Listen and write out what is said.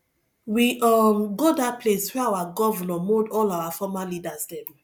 we um go dat place wey our governor mould all our former leaders dem